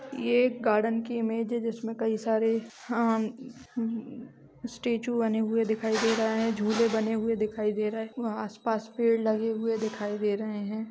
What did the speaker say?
ये गार्डन की इमेज है जिसमें कई सारे हा उम्म्म स्टेच्यू बने हुए दिखाई दे रहे हैं झूले बने हुए दिखाई दे रहे है वह आसपास पेड लगे हुए दिखाई दे रहे हैं।